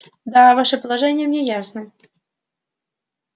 да ваше положение мне ясно